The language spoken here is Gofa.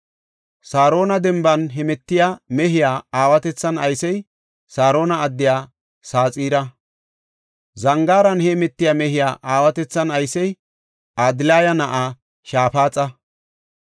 Saarona denban heemetiya mehiya aawatethan aysey Saarona addiya Saxira. Zangaaran heemetiya mehiya aawatethan aysey Adilaya na7aa Shaafaxa.